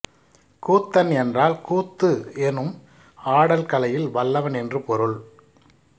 கூத்தன் என்றால் கூத்து எனும் ஆடல் கலையில் வல்லவன் என்று பொருள்